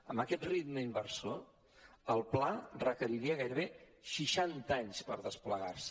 amb aquest ritme inversor el pla requeriria gairebé seixanta anys per desplegar se